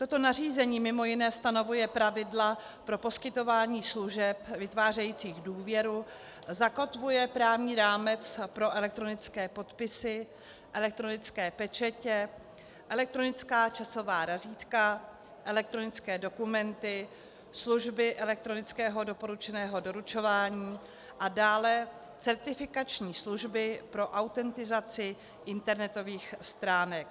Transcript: Toto nařízení mimo jiné stanovuje pravidla pro poskytování služeb vytvářejících důvěru, zakotvuje právní rámec pro elektronické podpisy, elektronické pečetě, elektronická časová razítka, elektronické dokumenty, služby elektronického doporučeného doručování a dále certifikační služby pro autentizaci internetových stránek.